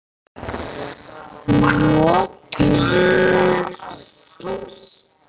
Notum það.